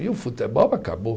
E o futebol acabou.